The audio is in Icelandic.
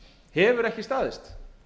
hefur ekki staðist